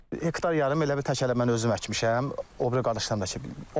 Hektar yarım elə bil təklə mən özüm əkmişəm, o biri qardaşlarımla da ki.